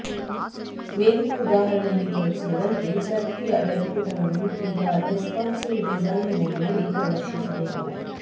ಮೇಲಿನ ಉದಾಹರಣೆಯಲ್ಲಿ ತೋರಿಸಿರುವಂತೆ ಸಕ್ರಿಯ ವೆಬ್ ಪುಟವನ್ನು ಈಗ ರೆಸ್ಪಾನ್ಸಿವ್ ಡಿಸೈನ್ ಮೋಡ್ನಲ್ಲಿ ಪ್ರದರ್ಶಿಸಬೇಕು